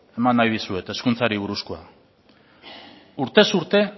eman nahi dizuet hezkuntzari buruzkoa urtez urte